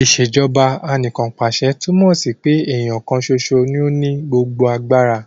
Ìṣèjọba Anìkanpàṣẹ túmọ̀ sí pé èèyàn kan ṣoṣo ní ó ní gbogbo agbára